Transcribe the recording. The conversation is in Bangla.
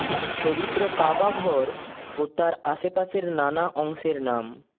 পবিত্র কাবা ঘর ও তার আশপাশের নানা অংশের নাম